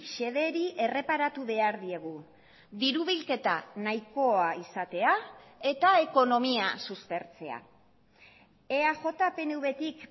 xederi erreparatu behar diegu diru bilketa nahikoa izatea eta ekonomia suspertzea eaj pnvtik